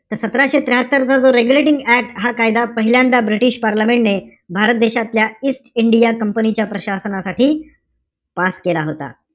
त सतराशे त्र्याहात्तर चा जो रेगुलेटिंग ऍक्ट हा कायदा पहिल्यांदा british parliament ने, भारत देशातल्या इंडिया कंपनी च्या प्रशासनासाठी pass केला होता.